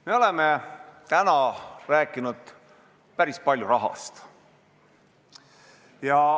Me oleme täna rääkinud päris palju rahast.